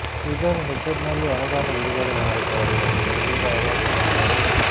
ಇದರ ಹೆಸರಿನಲ್ಲೂ ಅನುದಾನ ಬಿಡುಗಡೆ ಮಾಡಿದ್ದಾರೆ ಎಂದು ಗಂಭೀರ ಆರೋಪ ಮಾಡಿದರು